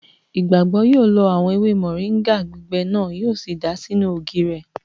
Ìgbàgbọ́ yóò lọ àwọn ewé mọ̀ríńgà gbígbẹ náà, yíò sì dàá sínú ògì rẹ̀